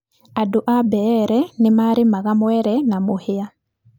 Andũ a Mbeere nĩ marĩmaga mwere na mũhĩa.